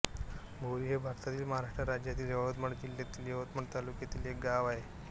बोरी हे भारतातील महाराष्ट्र राज्यातील यवतमाळ जिल्ह्यातील यवतमाळ तालुक्यातील एक गाव आहे